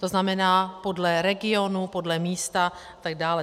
To znamená podle regionu, podle místa a tak dále.